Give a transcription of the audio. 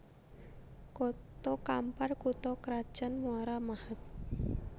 Koto Kampar kutha krajan Muara Mahat